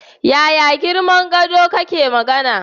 Yaya girman gado kake magana?